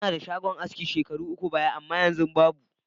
Inadshagon aski shekaru uku baya amma yanzu babu.